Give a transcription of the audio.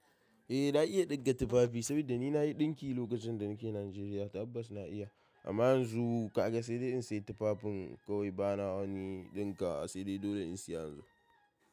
Eh na iya ɗinka tufafi saboda ni na yi ɗinki lokacin da nake Najeriya, tabbas na iya amma yanzu ka ga sai dai in sayi tufafin kawai ba na wani ɗinka wa sai dai dole in saya yanzu.